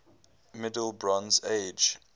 middle bronze age